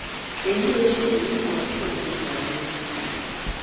èyí o ṣe yìí náà tó o jàre